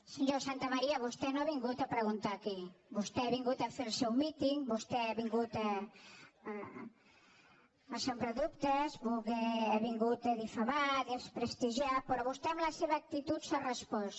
senyor santamaría vostè no ha vingut a preguntar aquí vostè ha vingut a fer el seu míting vostè ha vingut a sembrar dubtes ha vingut a difamar a desprestigiar però vostè amb la seva actitud s’ha respost